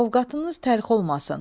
Ovqatınız təlx olmasın.